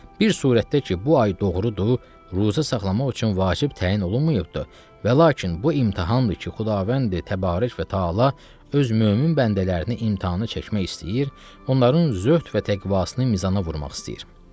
Bir surətdə ki, bu ay doğrudur, ruzə saxlamaq üçün vacib təyin olunmayıbdır və lakin bu imtahandır ki, Xudavəndi Təbarək və Təala öz mömin bəndələrini imtahana çəkmək istəyir, onların zöhd və təqvasını mizana vurmaq istəyir.